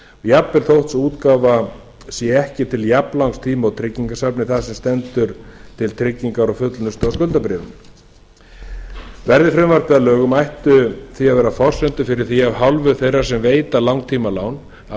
jafnvel þótt sú útgáfa sé ekki til jafnlangs tíma og tryggingasafn það sem stendur til tryggingar og fullnustu á skuldabréfinu verði frumvarpið að lögum ættu því að vera forsendur fyrir því af hálfu þeirra sem veita langtímalán að